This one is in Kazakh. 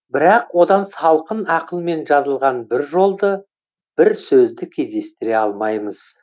бірақ одан салқын ақылмен жазылған бір жолды бір сөзді кездестіре алмайсыз